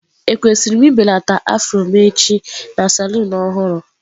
Ekwesịrị m ibelata afro m echi na saloon ọhụrụ?